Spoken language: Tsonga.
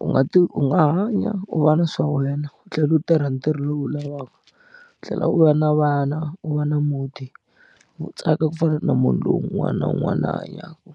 u nga ti u nga hanya u va na swa wena u tlhela u tirha ntirho lowu u wu lavaka u tlhela u va na vana u va na muti u tsaka ku fana na munhu loyi un'wana na un'wana la hanyaka.